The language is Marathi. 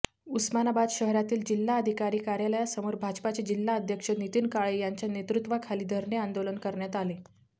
उस्मानाबाद शहरातील जिल्हाधिकारी कार्यालयासमोर भाजपाचे जिल्हाध्यक्ष नितीन काळे यांच्या नेतृत्वाखाली धरणे आंदोलन करण्यात आले